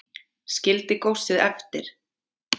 Skildi góssið eftir